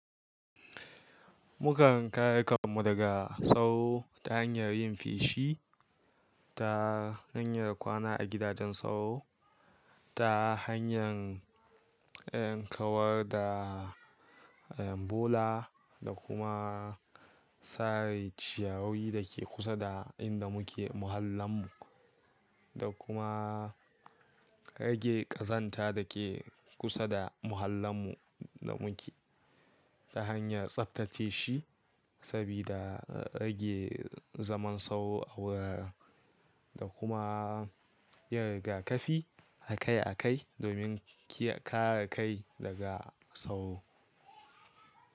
Mukan kare kanmu daga sauro ta hanyar yin feshi, ta hanyar kwana a gidajen sauro, ta hanyar kawar da bola da kuma sare ciyawowi da ke kusa da inda muke muhallan mu. Da kuma rage ƙazanta da ke kusa da muhallan mu da muke ta hanyar tsaftace shi sabida rage zaman sauro a wuraren da kuma yin riga kafi a kai a kai domin kare kai daga sauro.